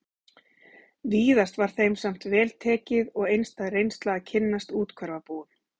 Víðast var þeim samt vel tekið og einstæð reynsla að kynnast úthverfabúum